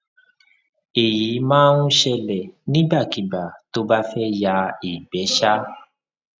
èyí máa ń ṣẹlẹ nígbàkigbà tó bá fẹ ya ìgbẹ um